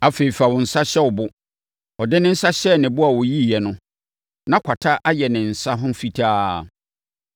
“Afei, fa wo nsa hyɛ wo bo.” Ɔde ne nsa hyɛɛ ne bo na ɔyiiɛ no, na kwata ayɛ ne nsa ho fitaa.